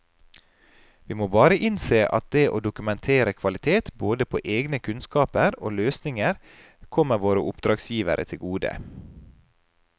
Vi må bare innse at det å dokumentere kvalitet både på egne kunnskaper og løsninger kommer våre oppdragsgivere til gode.